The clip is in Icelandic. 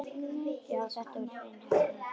Já, þetta var hrein heppni.